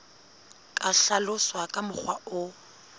ka hlaloswa ka mokgwa o